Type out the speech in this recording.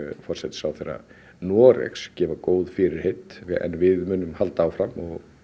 forsætisráðherra Noregs gefa góð fyrirheit við munum halda áfram